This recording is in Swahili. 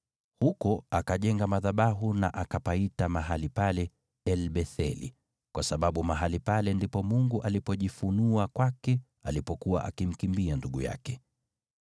Huko akajenga madhabahu na akapaita mahali pale El-Betheli, kwa sababu mahali pale ndipo Mungu alipojifunua kwake alipokuwa akimkimbia ndugu yake.